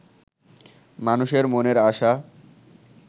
মানুষের মনের আশা